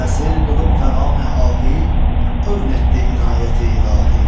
Təsir qılıb fəqani ahi, övn etdi inayəti ilahi.